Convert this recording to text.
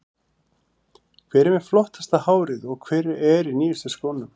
Hver er með flottasta hárið og hver er í nýjustu skónum?